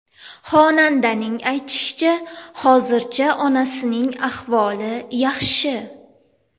Xonandaning aytishicha, hozirda onasining ahvoli yaxshi.